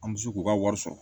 An bɛ se k'u ka wari sɔrɔ